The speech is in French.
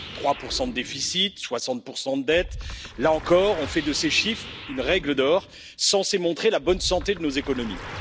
Trois pour cent de déficit, 60 de dette, là encore, on fait de ces chiffres une règle d'or, censée montrer la bonne santé de nos économies.